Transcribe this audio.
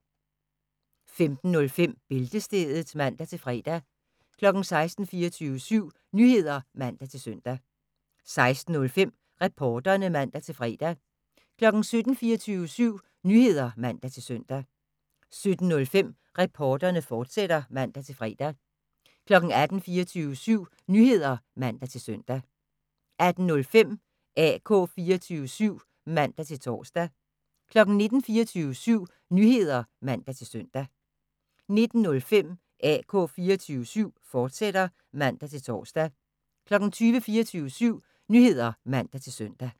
15:05: Bæltestedet (man-fre) 16:00: 24syv Nyheder (man-søn) 16:05: Reporterne (man-fre) 17:00: 24syv Nyheder (man-søn) 17:05: Reporterne, fortsat (man-fre) 18:00: 24syv Nyheder (man-søn) 18:05: AK 24syv (man-tor) 19:00: 24syv Nyheder (man-søn) 19:05: AK 24syv, fortsat (man-tor) 20:00: 24syv Nyheder (man-søn)